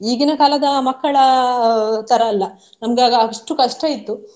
ಈಗಿನ ಕಾಲದ ಮಕ್ಕಳ ಅಹ್ ತರ ಅಲ್ಲ ನಮ್ಗೆ ಆಗ ಅಷ್ಟು ಕಷ್ಟ ಇತ್ತು.